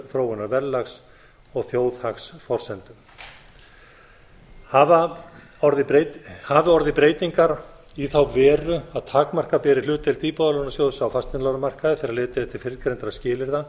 þróunar verðlags og þjóðhagsforsendum hafi orðið breytingar í þá veru að takmarka beri hlutdeild íbúðalánasjóðs á fasteignalánamarkaði þegar litið er til fyrrgreindra skilyrða